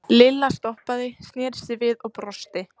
Lilla stoppaði, sneri sér við og brosti.